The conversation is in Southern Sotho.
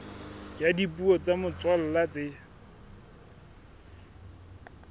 ya dipuo tsa motswalla tse